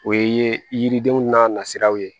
O ye yiridenw n'a nasiraw ye